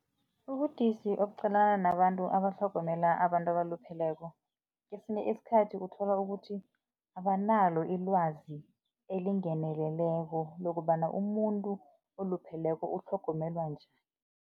Ubudisi obuqalena nabantu abatlhogomela abantu abalupheleko, kesinye isikhathi uthola ukuthi abanalo ilwazi elingeneleleko lokobana umuntu olupheleko utlhogomelwa njani